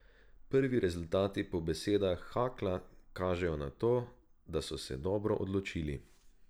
Prvi rezultati po besedah Hakla kažejo na to, da so se dobro odločili.